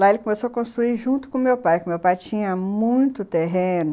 Lá ele começou a construir junto com meu pai, que meu pai tinha muito terreno.